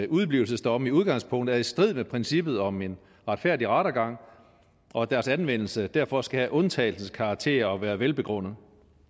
udeblivelsesdomme i udgangspunktet er i strid med princippet om en retfærdig rettergang og at deres anvendelse derfor skal have undtagelsens karakter og være velbegrundet